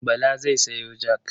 Bala zai sayo jak.